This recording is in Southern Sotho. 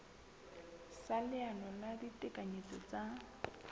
sa leano la ditekanyetso tsa